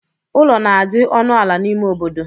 Ụlọ na-adi ọnụ ala n'ime obodo.